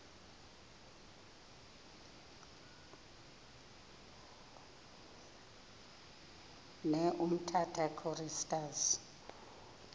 ne umtata choristers